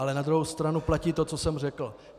Ale na druhou stranu platí to, co jsem řekl.